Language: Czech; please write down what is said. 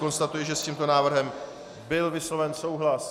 Konstatuji, že s tímto návrhem byl vysloven souhlas.